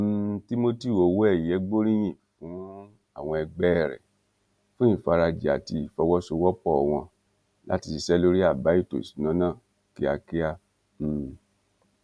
um timothy owóẹyẹ gbóríyìn fún àwọn ẹgbẹ rẹ fún ìfarajì àti ìfọwọsowọpọ wọn láti ṣiṣẹ lórí àbá ètò ìṣúná náà kíákíá um